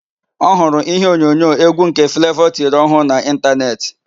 Ọ hụrụ íhé onyonyo égwú nke Flevọ tiri ọhụụ na ịntanetị.